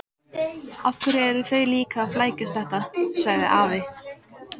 Hvað eru þau líka að flækjast þetta? sagði afi.